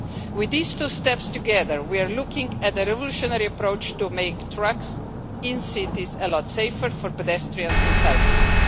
With these two steps together, we are looking at a revolutionary approach to make trucks in cities a lot safer for pedestrians and cyclists.